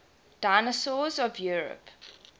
dinosaurs of europe